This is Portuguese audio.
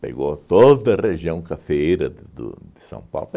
Pegou toda a região cafeeira do de São Paulo.